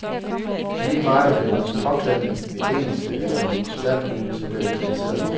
Lige meget om det var min påklædning, mit engelske eller min krystalkugle, så blev det kritiseret.